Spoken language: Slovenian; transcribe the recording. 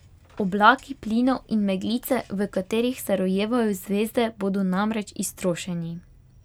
Oblaki plinov in meglice, v katerih se rojevajo zvezde, bodo namreč iztrošeni.